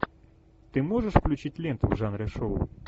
ты можешь включить ленту в жанре шоу